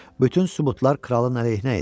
Bütün sübutlar kralın əleyhinə idi.